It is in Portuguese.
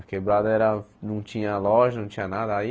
A quebrada era, não tinha loja, não tinha nada. Aí